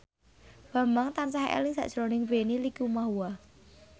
Bambang tansah eling sakjroning Benny Likumahua